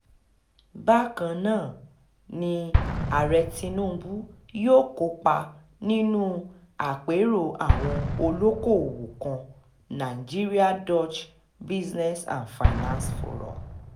bákan náà ni ààrẹ tinubu yóò kópa nínú àpérò àwọn olókoòwò kan nigeria-dutch business and finance forum